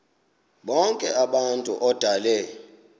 bonk abantu odale